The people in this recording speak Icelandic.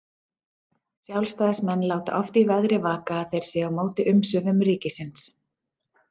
Sjálfstæðismenn láta oft í veðri vaka að þeir séu á móti umsvifum ríkisins.